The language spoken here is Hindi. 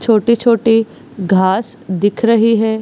छोटे-छोटे घास दिख रही है।